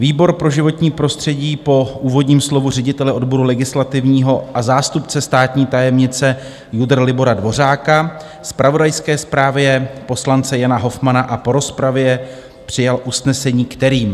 "Výbor pro životní prostředí po úvodním slovu ředitele odboru legislativního a zástupce státní tajemnice JUDr. Libora Dvořáka, zpravodajské zprávě poslance Jana Hofmanna a po rozpravě přijal usnesení, kterým: